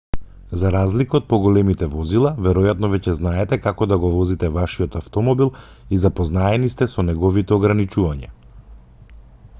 за разлика од поголемите возила веројатно веќе знаете како да го возите вашиот автомобил и запознаени сте со неговите ограничувања